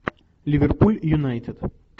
ливерпуль юнайтед